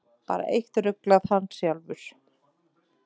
Bara eitt ruglað: Hann sjálfur.